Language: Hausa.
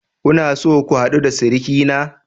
Kuna so ku hadu da surukina?